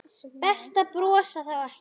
Best að brosa þá ekki.